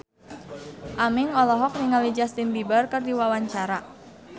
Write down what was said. Aming olohok ningali Justin Beiber keur diwawancara